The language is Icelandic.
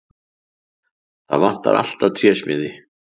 Það vantar alltaf trésmiði!